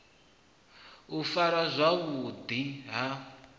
u farwa zwavhu ḓi ha